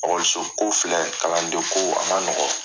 okɔlisoko filɛ kalanden ko a ma nɔgɔ